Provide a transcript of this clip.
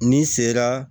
N'i sera